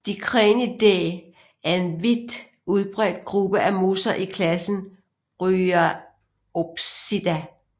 Dicranidae er en vidt udbredt gruppe af mosser i klassen Bryopsida